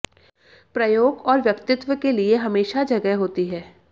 प्रयोग और व्यक्तित्व के लिए हमेशा जगह होती है